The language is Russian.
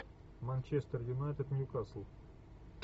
манчестер юнайтед ньюкасл